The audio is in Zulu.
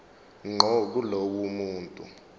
ngqo kulowo muntu